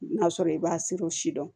N'a sɔrɔ i b'a siri o si dɔn